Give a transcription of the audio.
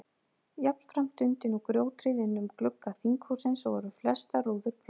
Jafnframt dundi nú grjóthríð innum glugga þinghússins og voru flestar rúður brotnar.